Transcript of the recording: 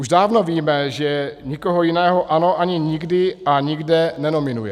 Už dávno víme, že nikoho jiného ANO ani nikdy a nikde nenominuje.